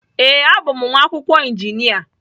Ee, abụ m nwa akwụkwọ injinia.